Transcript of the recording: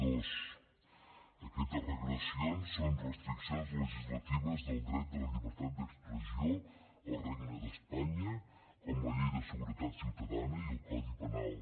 dos aquestes regressions són restriccions legislatives del dret de la llibertat d’expressió al regne d’espanya com la llei de seguretat ciutadana i el codi penal